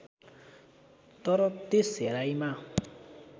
तर त्यस हेराइमा